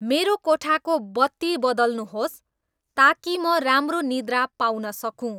मेरो कोठाको बत्ती बदल्नुहोस् ताकि म राम्रो निद्रा पाउन सकूँ